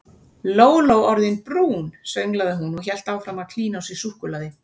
Lóló orðin brún sönglaði hún og hélt áfram að klína á sig súkkulaði.